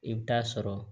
I bɛ taa sɔrɔ